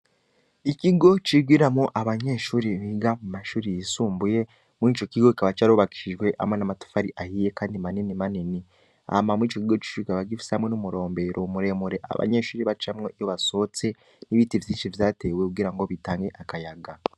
ikigo c'abanyeshure Bigiramwo amashure y'isumbuye icokigo kikaba cubakishije amatafari ahiye kandi manini manini icokigo c'ishure kikaba gifise n'umurombero bacamwo iyo abanyeshure basohotse n'ibiti vyinshi vyatewe kugira bitange akayaga